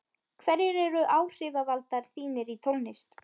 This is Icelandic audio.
hverjir eru áhrifavaldar þínir í tónlist?